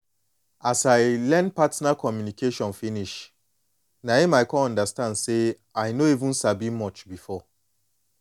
as i learn partner communication finish na em i come notice say i no even sabi much before